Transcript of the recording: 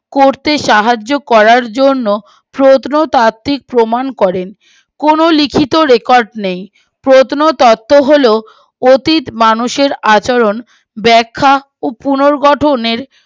করতে সাহায্য করার জন্য প্রত্নতাত্তিক প্রমান করে কোনো লিখিত রেকর্ড নেই প্রত্নতত্ত হল অতীত মানুষের আচরণ ব্যাখ্যা ও পুনর্গঠনের